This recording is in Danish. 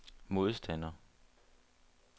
modstander